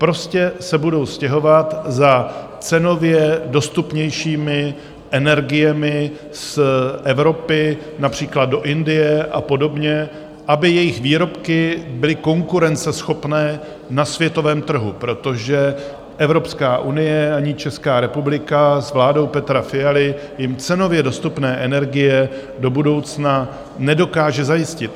Prostě se budou stěhovat za cenově dostupnějšími energiemi z Evropy, například do Indie a podobně, aby jejich výrobky byly konkurenceschopné na světovém trhu, protože Evropská unie ani Česká republika s vládou Petra Fialy jim cenově dostupné energie do budoucna nedokáže zajistit.